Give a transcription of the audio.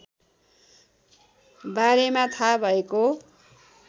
बारेमा थाहा भएको